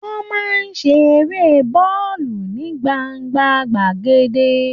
Wọ́n máa ń ṣe Eré bọ́ọ̀lù ní gbangba gbàgede